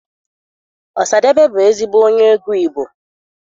Ọsadebe bụ ezigbo onye egwu Igbo.